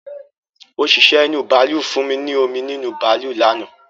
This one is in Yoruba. Òṣìṣẹ́ inú bàálù fún mi ní omi nínú bàálù lánàá